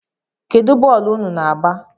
Kedu bọlụ ụnụ´na-agba?